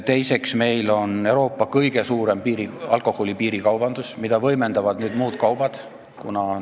Teiseks, meil on Euroopa kõige suurem alkoholi piirikaubandus, mida võimendavad muud kaubad.